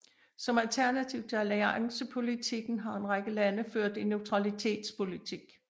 Som alternativ til alliancepolitikken har en række lande ført en neutralitetspolitik